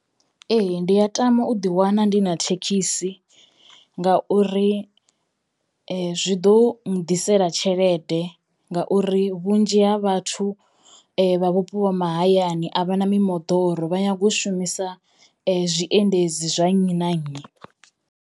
Ee. Ndi ya tama u ḓi wana ndi na thekhisi ngauri zwi ḓo nnḓisela tshelede ngauri vhunzhi ha vhathu vha vhupo ha mahayani a vha na mimoḓoro vha nyago u shumisa zwiendedzi zwa nnyi na nnyi.